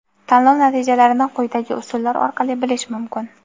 Tanlov natijalarini quyidagi usullar orqali bilish mumkin:.